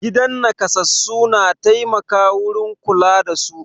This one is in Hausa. Gidan naƙasassu na taimaka wurin kula da su.